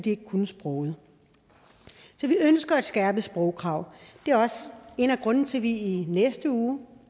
ikke kunne sproget så vi ønsker et skærpet sprogkrav det er også en af grundene til at vi i næste uge